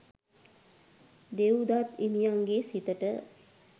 දෙව්දත් හිමියන්ගේ සිතට